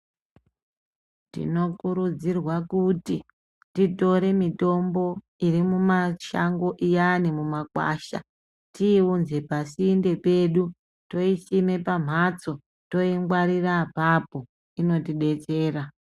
Tinokurudzirwa kuti titore mitombo iri mumashango iyani mumakwasha tiiunze pasinde pedu. Toisime pamhatso toingwarira apapo inotibetsera.